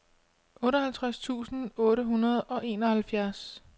otteoghalvtreds tusind otte hundrede og enoghalvfjerds